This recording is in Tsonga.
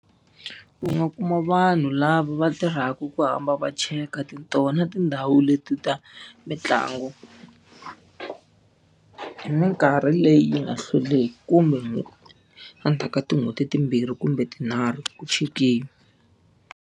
U nga kuma vanhu lava va tirhaka ku hamba va cheka ta tona tindhawu leti ta mitlangu. Hi minkarhi leyi yi nga hlweliki kumbe endzhaku ka tin'hweti timbirhi kumbe tinharhu ku chekiwa.